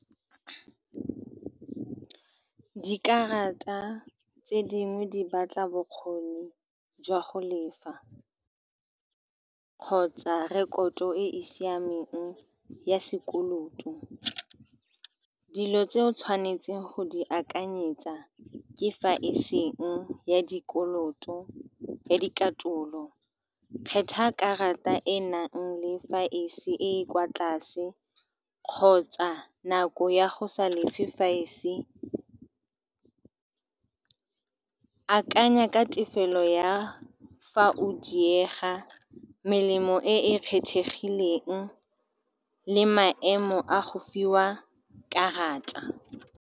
Dikarata tse dingwe di batla bokgoni jwa go lefa, kgotsa rekoto e e siameng ya sekoloto. Dilo tse o tshwanetseng go di akanyetsa ke fa eseng ya dikoloto ya dikatolo, kgetha karata e e nang le fa ese e e kwa tlase, kgotsa nako ya go sa lefe . Akanya ka tefelo ya fa o diega, melemo e e kgethegileng, le maemo a go fiwa karata.